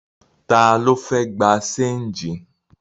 Ta ló fẹ́ gbé ṣéńjì?